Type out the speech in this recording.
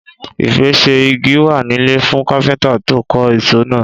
Ìpèsè igi wá nílẹ̀ fún kápẹ́ńtà tó ń kọ́ isọ̀ náà.